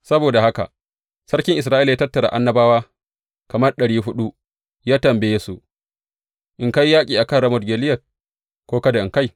Saboda haka sarkin Isra’ila ya tattara annabawa, kamar ɗari huɗu, ya tambaye su, In kai yaƙi a kan Ramot Gileyad, ko kada in kai?